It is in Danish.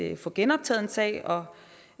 at få genoptaget en sag og